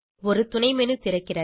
ஒரு துணை menu திறக்கிறது